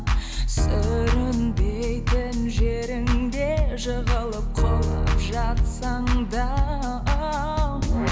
сүрінбейтін жеріңде жығылып құлап жатсаң да оу